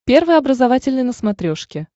первый образовательный на смотрешке